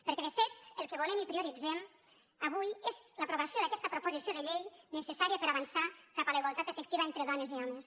perquè de fet el que volem i prio·ritzem avui és l’aprovació d’aquesta proposició de llei necessària per avançar cap a la igualtat efectiva entre dones i homes